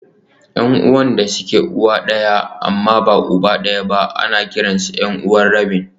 Yan'uwan da suke uwa ɗaya amma uba daban-daban ana kiransu 'yan'uwa rabin